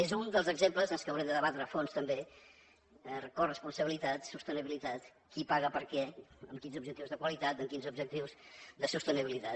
és un dels exemples del que haurem de debatre a fons també coresponsabilitat sostenibilitat qui paga per què amb quins objectius de qualitat amb quins objectius de sostenibilitat